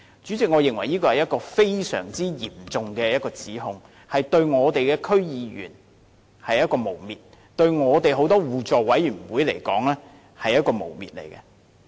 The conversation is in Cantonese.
主席，我認為這是非常嚴重的指控，是對區議員的誣衊；對很多互委會而言，也是一種誣衊。